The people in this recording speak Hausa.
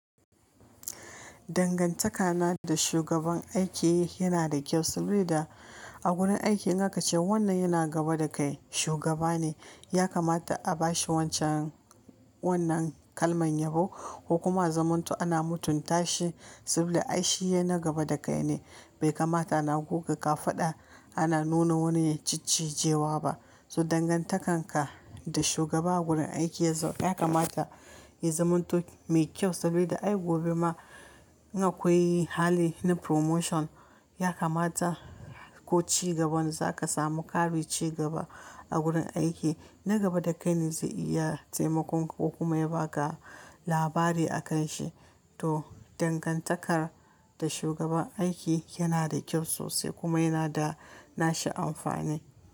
Dangantakana da shugaban aiki yana da kyau sabili da a wurin aiki in aka ce wannan yana gaba da kai shugaba ne ya kamata a bashi wancan wannan kalman yabo ko kuma a zamanto ana mutunta shi saboda ai shi ne na gaba da kai ne bai kamata ana guga kafada ana nuna wani ya ciccijewa ba. To dangantakan ka da shugaba a gurin aiki ya kamata ya zamanto mai kyau saboda ai gobe ma in akwai hali na promotion ya kamata ko cigaban za ka samu ƙarin cigaba a gurin aiki na gaba da kai ne zai iya taimakon ka ko kuma ya baka labari a kan shi. To dangantakar da shugaban aiki yana da kyau sosai kuma yana da nashi amfani.